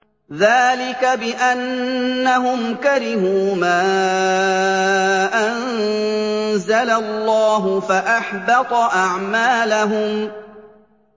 ذَٰلِكَ بِأَنَّهُمْ كَرِهُوا مَا أَنزَلَ اللَّهُ فَأَحْبَطَ أَعْمَالَهُمْ